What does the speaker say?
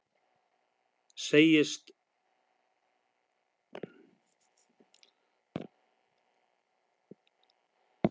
Segjast ekki fá að kjósa